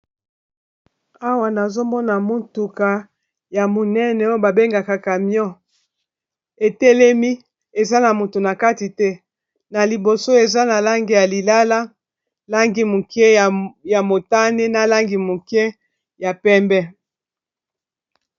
Awa nazomona motuka ya monene oyo ba bengaka camion etelemi eza na motu na kati te na liboso eza na lange ya lilala, langi moke ya motane, na langi moke ya pembe.